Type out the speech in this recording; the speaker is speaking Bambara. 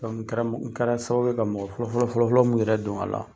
N kɛra sababu ye ka mɔgɔ fɔlɔfɔlɔ fɔlɔfɔlɔ mun yɛrɛ don a la